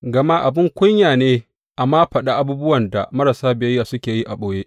Gama abin kunya ne a ma faɗi abubuwan da marasa biyayya suke yi a ɓoye.